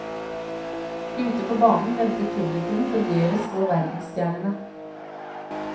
Ute på banen ventet publikum forgjeves på verdensstjernene.